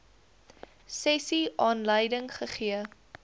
sessie aanleiding gegee